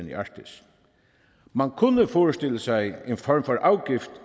i arktis man kunne forestille sig en form for afgift